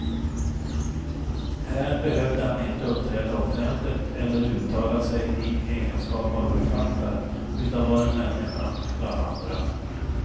Här behövde han inte uppträda offentligt eller uttala sig i egenskap av författare, utan var en människa bland andra.